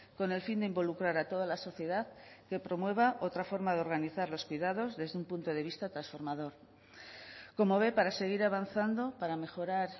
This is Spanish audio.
con el fin de involucrar a toda la sociedad que promueva otra forma de organizar los cuidados desde un punto de vista transformador como ve para seguir avanzando para mejorar